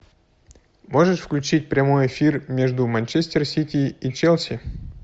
можешь включить прямой эфир между манчестер сити и челси